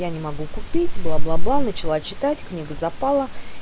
я не могу купить бла бла бла начала читать книга запала